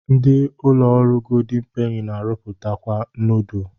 Ndi ụlọ ọrụ goldin peni na-arụpụtakwa nudul.